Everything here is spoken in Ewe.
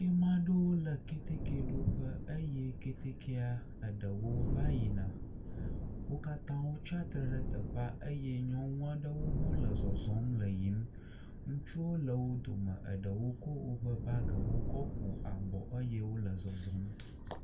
Amea ɖewo le ketekeɖoƒe eye ketekea eɖewo va yina, wo katã tsatsitre ɖe teƒea, eye nyɔnua aɖewo hã wole yiyim, ŋutsuwo le wo dome, eɖewo kɔ woƒe bagiwo kɔ ku abɔ eye wole zɔzɔm.